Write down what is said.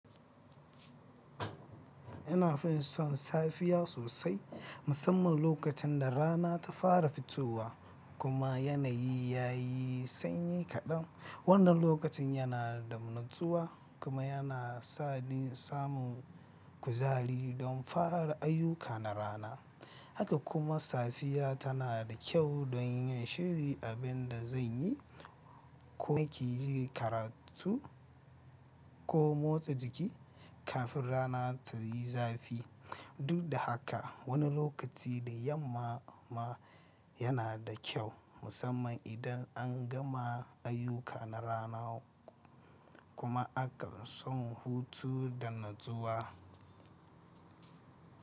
Ina fin son safiya sosai, musamman lokacin da rana ta fara fitowa kuma yanayi ya yi sanyi kaɗan. Wannan lokaci yana da natsuwa kuma yana samin samun kuzari don fara ayyuka na rana. Haka kuma safiya tana da kyau don yin shiri abin da zan yi ko na ke yin karatu ko motsa jiki kafin rana ta yi zafi. Duk da haka, wani lokaci dayamama yana da kyau, musamman idan an gama ayyuka na rana kuma aka son hutu da natsuwa.